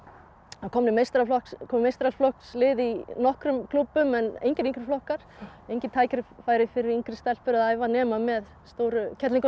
komin meistaraflokkslið komin meistaraflokkslið í nokkrum klúbbum en engir yngri flokkar engin tækifæri fyrir yngri stelpur að æfa nema með stóru